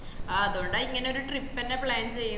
ആഹ് അതോണ്ടാ ഇങ്ങനെ ഒരു trip ന്നേ plan ചെയ്യുന്നെ